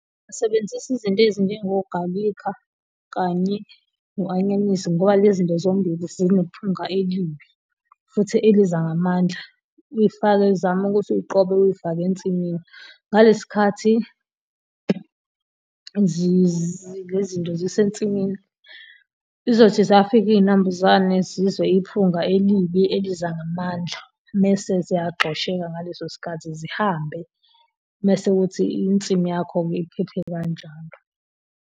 Ngingasebenzisa izinto ezinjengo galikha kanye no-anyanisi ngoba lezinto zombili zinephunga elimbi futhi eliza ngamandla, ufake uzame ukuthi uziqobe uzifake ensimini. Ngalesi khathi lezi zinto zisensimini zizothi zafika izinambuzane zizwe iphunga elibi eliza ngamandla mese ziyagxosheka ngaleso sikhathi zihambe, mese kuthi insimu yakho-ke iphephe kanjalo.